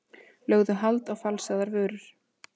Lögðu hald á falsaðar vörur